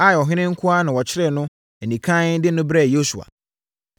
Ai ɔhene nko ara na wɔkyeree no anikann de no brɛɛ Yosua.